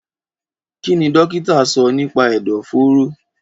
Kí ni dókítà sọ nípa ẹ̀dọ̀fóró?